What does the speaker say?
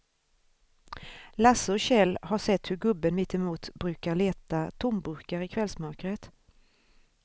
Lasse och Kjell har sett hur gubben mittemot brukar leta tomburkar i kvällsmörkret.